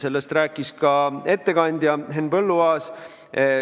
Sellest rääkis ka ettekandja Henn Põlluaas.